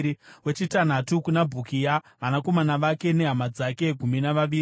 wechitanhatu kuna Bhukia, vanakomana vake nehama dzake—gumi navaviri;